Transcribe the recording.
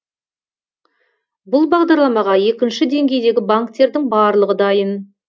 бұл бағдарламаға екінші деңгейдегі банктердің барлығы дайын